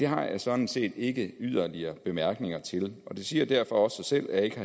har jeg sådan set ikke yderligere bemærkninger til det siger derfor også sig selv at jeg ikke